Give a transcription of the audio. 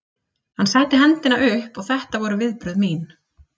Hann setti hendina upp og þetta voru viðbrögð mín.